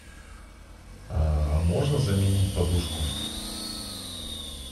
можно заменить подушку